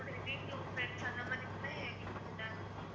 உங்களோட relatives, friends அந்த மாதிரி இருந்தா எங்களுக்கு வந்து இதா இருக்கும்